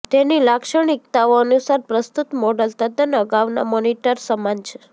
તેની લાક્ષણિકતાઓ અનુસાર પ્રસ્તુત મોડલ તદ્દન અગાઉના મોનીટર સમાન છે